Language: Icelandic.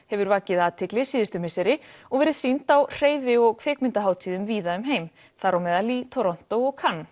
hefur vakið athygli síðustu misseri og verið sýnd á hreyfi og kvikmyndahátíðum víða um heim þám í Toronto og